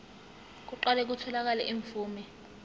kuqale kutholakale imvume